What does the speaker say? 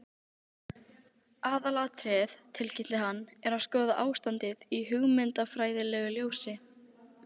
Aðalatriðið, tilkynnti hann, er að skoða ástandið í hugmyndafræðilegu ljósi